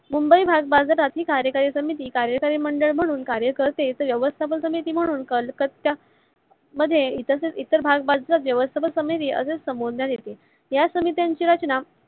मुंबई भागबाजारात ही कार्यकारी सामिती कार्यकारी मंडळ म्हणून कार्य करते तर व्यवस्थापन सामिती म्हणून कलकत्या मध्ये तर इतर भाग बाजार मध्ये व्यवस्थापन समिती असे संबोधाण्य्त येते. या समित्यंची रचना